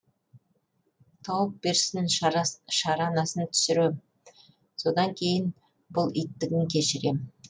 тауып берсін шаранасын түсірем содан кейін бұл иттігін кешірем